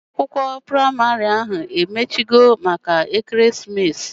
Ụlọ akwụkwọ praịmarị ahu emechio maka ekeremesis?